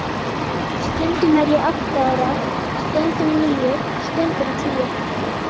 Stundum er ég átta ára, stundum níu, stundum tíu.